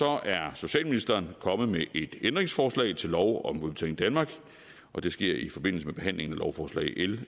er socialministeren kommet med et ændringsforslag til lov om udbetaling danmark og det sker i forbindelse med behandlingen af lovforslag l